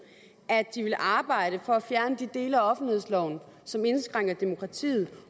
at de ville arbejde for at fjerne de dele af offentlighedsloven som indskrænker demokratiet